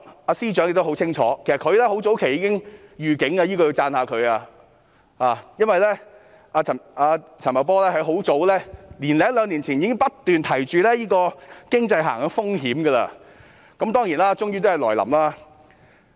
其實，陳茂波很早便已作出預警，這要讚揚他，因為他早在年多兩年前已不斷提及經濟下行的風險，而最終也來臨。